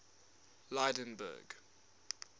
lydenburg